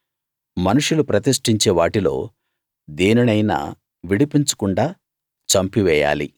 మనుషులు ప్రతిష్ఠించే వాటిలో దేనినైనా విడిపించకుండా చంపి వేయాలి